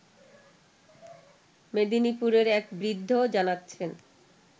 মেদিনীপুরের এক বৃদ্ধ জানাচ্ছেন